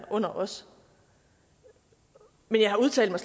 under os men jeg udtalte